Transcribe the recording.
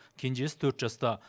кенжесі төрт жаста